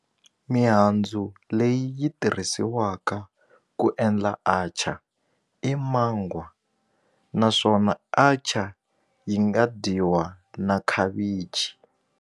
Mihandzu leyi yi tirhisiwaka ku endla atchar i mangwa naswona atchar yi nga dyiwa na khavichi.